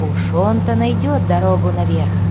уж он-то найдёт дорогу наверх